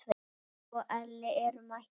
Geiri og Elli eru mættir.